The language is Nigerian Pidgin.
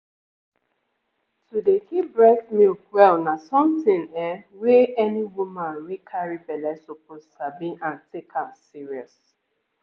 to dey keep breast milk well na something ehnnn wey any woman wey carry belle suppose sabi and take am serious.